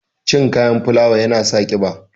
Cin kayan fulawa ya na sa ƙiba.